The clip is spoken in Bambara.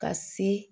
Ka se